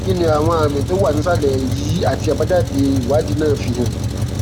kí ni àwọn àmì tó wà nísàlè yìí àti àbájáde ìwádìí náà fi hàn